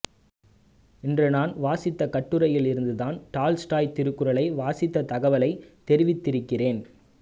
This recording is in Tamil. என்று நான் வாசித்த கட்டுரையில் இருந்து தான் டால்ஸ்டாய் திருக்குறளை வாசித்த தகவலை தெரிவித்திருக்கிறேன்